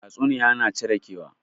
Tatsuniya na cire kewa